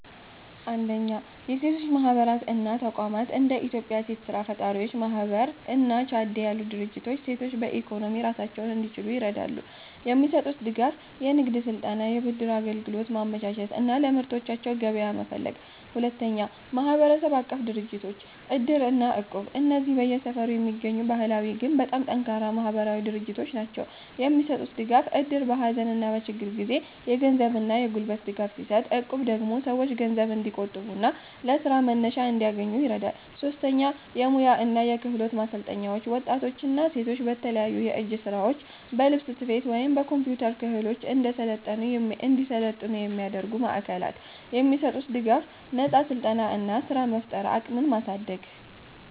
1. የሴቶች ማህበራት እና ተቋማት እንደ የኢትዮጵያ ሴት ስራ ፈጣሪዎች ማህበር እና ቻዴት ያሉ ድርጅቶች ሴቶች በኢኮኖሚ ራሳቸውን እንዲችሉ ይረዳሉ። የሚሰጡት ድጋፍ፦ የንግድ ስልጠና፣ የብድር አገልግሎት ማመቻቸት እና ለምርቶቻቸው ገበያ መፈለግ። 2. ማህበረሰብ-አቀፍ ድርጅቶች (እድር እና እቁብ) እነዚህ በየሰፈሩ የሚገኙ ባህላዊ ግን በጣም ጠንካራ ማህበራዊ ድርጅቶች ናቸው። የሚሰጡት ድጋፍ፦ እድር በሀዘንና በችግር ጊዜ የገንዘብና የጉልበት ድጋፍ ሲሰጥ፣ እቁብ ደግሞ ሰዎች ገንዘብ እንዲቆጥቡና ለስራ መነሻ እንዲያገኙ ይረዳል። 3. የሙያ እና የክህሎት ማሰልጠኛዎች ወጣቶችና ሴቶች በተለያዩ የእጅ ስራዎች፣ በልብስ ስፌት ወይም በኮምፒውተር ክህሎት እንዲሰለጥኑ የሚያደርጉ ማዕከላት። የሚሰጡት ድጋፍ፦ ነፃ ስልጠና እና ስራ የመፍጠር አቅምን ማሳደግ።